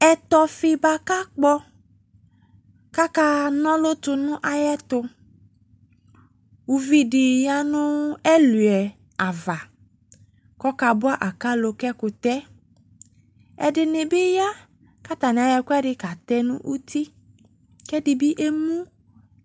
Ɛtɔfi boako akpɔ kaka na ɔlu to no ayeto Uvi de ya no ɛluɛ ava kɔka boa akalo ka ɛkutɛƐdene ne be ya ka atane ayɔ ɛkuɛde katɛ no uti ko ɛde be emu